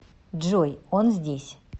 джой он здесь